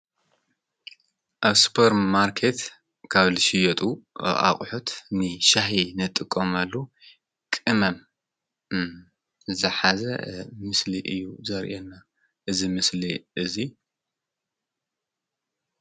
አብ ሱፐር ማርኬት ካብ ዝሽየጡ ኣቁሑት ንሻሂ ንጥቀመሉ ቅመም ዝሓዘ ምስሊ እዩ ዘሪኤና እዚ ምስሊ እዚ።